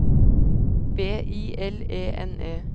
B I L E N E